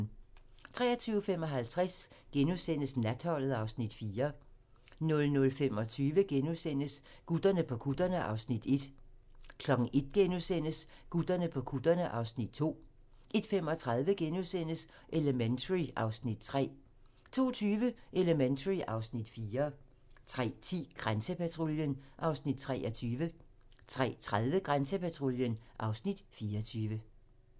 23:55: Natholdet (Afs. 4)* 00:25: Gutterne på kutterne (Afs. 1)* 01:00: Gutterne på kutterne (Afs. 2)* 01:35: Elementary (Afs. 3)* 02:20: Elementary (Afs. 4) 03:10: Grænsepatruljen (Afs. 23) 03:30: Grænsepatruljen (Afs. 24)